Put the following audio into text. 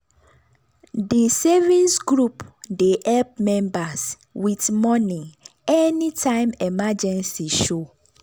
di savings group dey help members with money anytime emergency show.